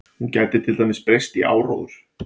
Hún gæti til dæmis breyst í áróður.